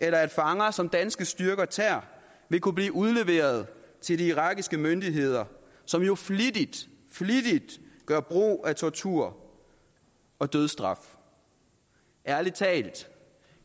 at fanger som danske styrker tager vil kunne blive udleveret til de irakiske myndigheder som jo flittigt flittigt gør brug af tortur og dødsstraf ærlig talt